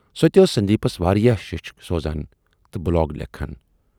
سۅ تہِ ٲس سندیپس واریاہ شیچھِ سوزان تہٕ بلاگ لیکھان